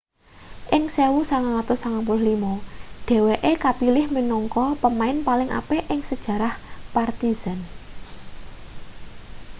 ing 1995 dheweke kapilih minangka pemain paling apik ing sejarah partizan